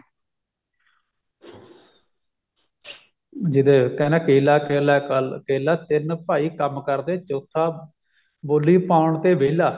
ਜਿਹਦੇ ਕਹਿੰਦੇ ਕੇਲਾ ਕੇਲਾ ਕਾਲ ਕੇਲਾ ਤਿੰਨ ਭਾਈ ਕੰਮ ਕਰਦੇ ਚੋਥਾ ਬੋਲੀ ਪਾਉਣ ਤੇ ਵਿਹਲਾ